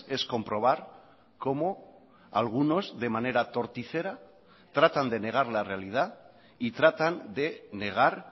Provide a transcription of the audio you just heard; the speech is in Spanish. es comprobar cómo algunos de manera torticera tratan de negar la realidad y tratan de negar